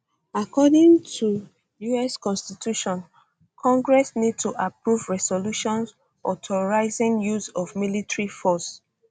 according to us constitution congress need to approve resolutions authorizing use of military force